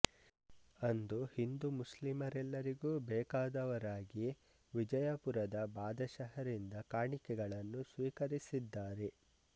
ಅಂದು ಹಿಂದುಮುಸ್ಲಿಂ ರೆಲ್ಲರಿಗೂ ಬೇಕಾದವರಾಗಿ ವಿಜಯಪುರದ ಬಾದಶಹರಿಂದ ಕಾಣಿಕೆಗಳನ್ನು ಸ್ವೀಕರಿಸಿದ್ದಾರೆ